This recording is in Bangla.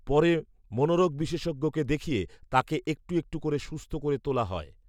পরে মনোরোগ বিশেষজ্ঞকে দেখিয়ে তাঁকে একটু একটু করে সুস্থ করে তোলা হয়